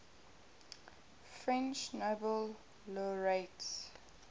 french nobel laureates